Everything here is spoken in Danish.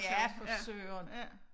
Ja for Søren